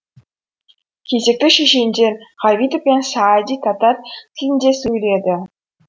кезекті шешендер ғабитов пен саади татар тілінде сөйледі